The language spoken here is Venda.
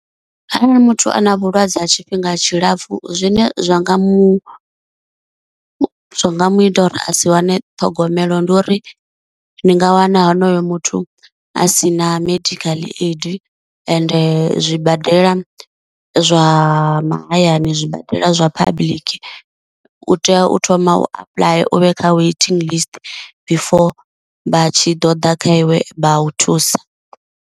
Arali muthu a na vhulwadze ha tshifhinga tshilapfu zwine zwa nga mu zwa nga mu ita uri a si wane ṱhogomelo ndi uri ni nga wana honoyo muthu a si na medical aid, ende zwibadela zwa mahayani zwibadela zwa public u tea u thoma u apuḽaya u vhe kha waiting last before vha tshi ḓo ḓa kha iwe vha u thusa.